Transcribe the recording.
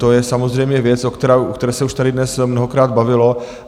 To je samozřejmě věc, o které se už tady dnes mnohokrát bavilo.